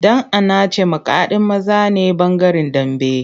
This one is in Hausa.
Dan’anace makadin maza ne bangaren Dambe.